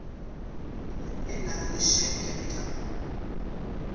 e nang le share capital